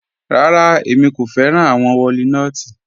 Rárá, ẹ̀mi kò fẹ̀ràn awọn wọ̀línotí